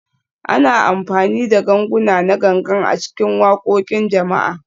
Ana amfani da ganguna na Gangan a cikin waƙoƙin jama'a